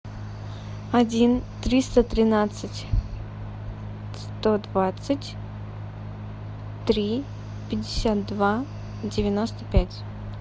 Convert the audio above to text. один триста тринадцать сто двадцать три пятьдесят два девяносто пять